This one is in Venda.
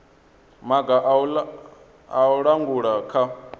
maga a u langula kha